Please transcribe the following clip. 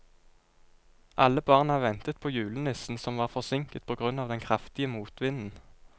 Alle barna ventet på julenissen, som var forsinket på grunn av den kraftige motvinden.